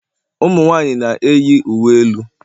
Ụmụ nwanyị na-eyi uwe elu